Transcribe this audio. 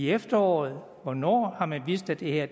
efteråret hvornår har man vist at det her